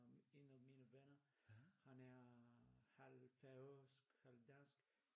En af mine venner han er halv færøsk halv dansk